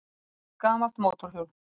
Stórt gamalt mótorhjól